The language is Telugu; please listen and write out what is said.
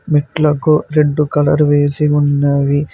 మెట్లకు రెడ్ కలర్ వేసి ఉన్నవి.